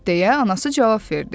Deyə anası cavab verdi.